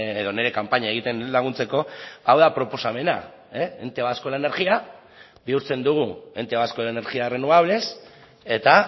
edo nire kanpaina egiten laguntzeko hau da proposamena ente vasco de la energía bihurtzen dugu ente vasco de energías renovables eta